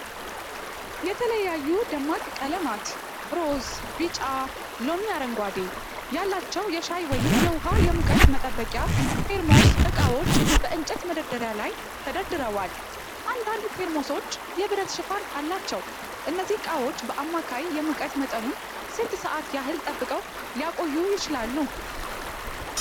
የተለያዩ ደማቅ ቀለማት (ሮዝ፣ ቢጫ፣ ሎሚ አረንጓዴ) ያላቸው የሻይ ወይም የውሃ የሙቀት መጠበቂያ (ቴርሞስ) እቃዎች በእንጨት መደርደሪያ ላይ ተደርድረዋል። አንዳንድ ቴርሞሶች የብረት ሽፋን አላቸው። እነዚህ እቃዎች በአማካይ የሙቀት መጠኑን ስንት ሰዓት ያህል ጠብቀው ሊቆዩ ይችላሉ?